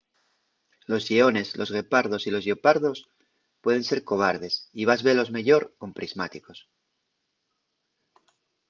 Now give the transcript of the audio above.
los lleones los guepardos y los lleopardos pueden ser cobardes y vas velos meyor con prismáticos